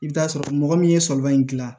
I bɛ t'a sɔrɔ mɔgɔ min ye sɔliba in gilan